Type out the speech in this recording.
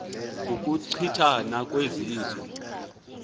ukuchi thana kwezizwe